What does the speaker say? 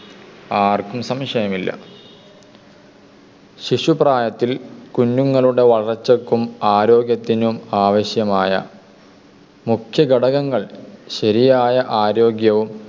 ശിശു പ്രായത്തിൽ കുഞ്ഞുങ്ങളുടെ വളർച്ചയ്ക്കും ആരോഗ്യത്തിനും ആവശ്യമായ മുഖ്യഘടകങ്ങൾ ശരിയായ ആരോഗ്യവും